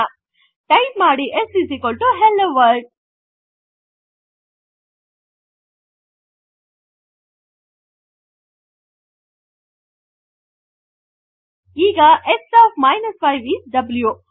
type ಮಾಡಿ s hello world ಈಗ s of 5 is view